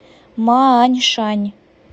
мааньшань